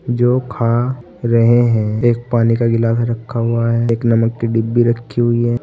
जो खा रहे हैं एक पानी का गिलास रखा हुआ है एक नमक की डिब्बी रखी हुई है।